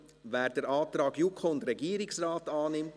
Wer den Antrag JuKo und Regierungsrat annimmt …